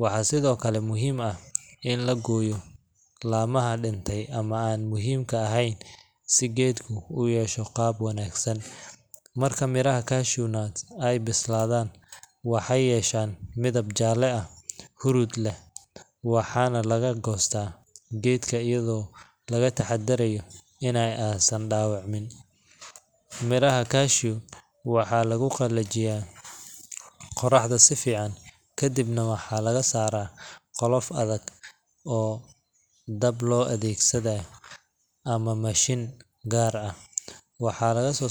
waxaa sido kale muhiim ah in la gooyo lamaha dinte ama aan muhiimka eheen si geedku uyesho qaab wanagsan, marka miraha cashew nuts aay bisladaan waxeey yeshan midab jaala ah hurud leh waxaana laga goosta geedka ayado laga taxadaayo in aay san dawacmin, miraha gashu waxaa lagu qalajiya qoraxda sifican kadibna waxaa laga saara qolof adag oo dab loo adeegsanaayo ama mashin gaar ah waxaa lagaso saara.